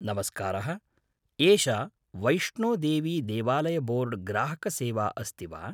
नमस्कारः! एषा वैष्णोदेवीदेवालयबोर्ड् ग्राहकसेवा अस्ति वा?